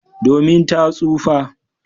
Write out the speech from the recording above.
Domin ta tsufa.